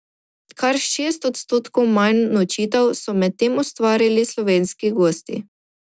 Kar šest odstotkov manj nočitev so medtem ustvarili slovenski gosti.